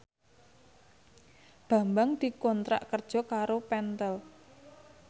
Bambang dikontrak kerja karo Pentel